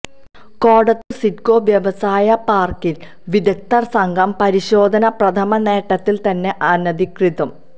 കോടത്തൂര് സിഡ്കോ വ്യവസായ പാര്ക്കിൽ വിദഗ്ധ സംഘം പരിശോധന പ്രഥമ നോട്ടത്തിൽ തന്നെ അനധികൃതം